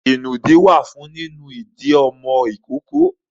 Ìnùdí wà nínú ìdí àwọn ìkókó.